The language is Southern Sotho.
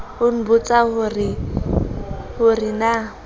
a nbotsa ho re na